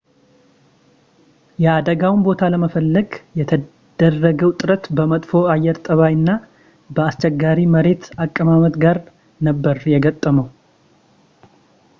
የአደጋውን ቦታ ለመፈለግ የተደረገው ጥረት በመጥፎ የአየር ጠባይ እና በአስቸጋሪ የመሬት አቀማመጥ ጋር ነበር የገጠመው